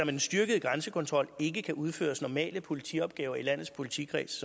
en styrket grænsekontrol ikke kan udføres normale politiopgaver i landets politikredse